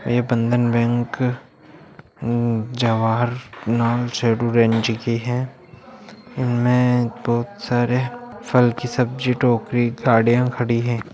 ये बंधन बैंक जवाहर लाल जी की है इनमें बहुत सारे फल की सब्जी टोकरी गाड़ियां खड़ी हैं।